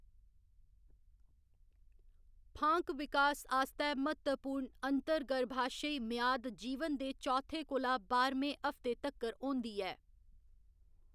फांक विकास आस्तै म्हत्तवपूर्ण अंतर्गर्भाशयी म्याद जीवन दे चौथे कोला बाह्‌रमें हफ्ते तक्कर होंदी ऐ।